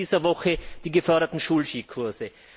Wozu in dieser Woche die geförderten Schulskikurse?